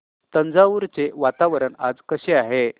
तंजावुर चे वातावरण आज कसे आहे